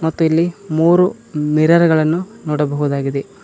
ಮತ್ತು ಇಲ್ಲಿ ಮೂರು ಮಿರರ್ ಗಳನ್ನು ನೋಡಬಹುದಾಗಿದೆ.